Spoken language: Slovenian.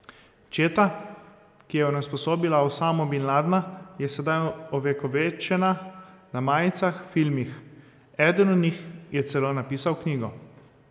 Četa, ki je onesposobila Osamo bin Ladna je sedaj ovekovečena na majicah, filmih, eden od njih je celo napisal knjigo.